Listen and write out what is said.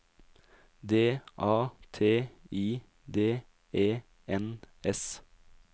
D A T I D E N S